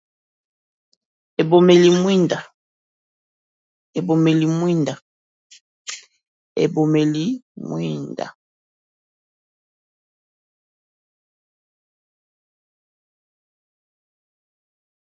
Ebomeli mwinda ebombeli mwinda.